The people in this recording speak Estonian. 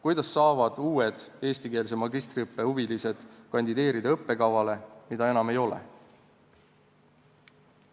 Kuidas saavad uued eestikeelse magistriõppe huvilised kandideerida õppekavale, mida enam ei ole?